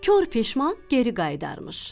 Kor peşman geri qayıdarmış.